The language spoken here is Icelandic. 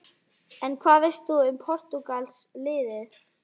En hvað veist þú um Portúgalska-liðið?